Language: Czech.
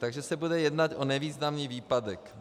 Takže se bude jednat o nevýznamný výpadek.